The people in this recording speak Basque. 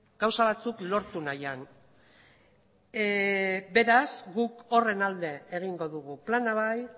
gauza batzuk lortu nahian beraz guk horren alde egingo dugu plana bai